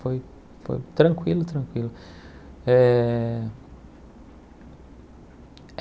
Foi foi tranquilo, tranquilo. Eh